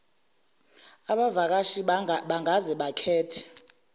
abavakashi bangaze bakhethe